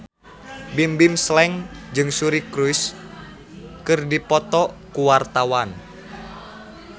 Bimbim Slank jeung Suri Cruise keur dipoto ku wartawan